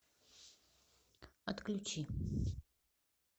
отключи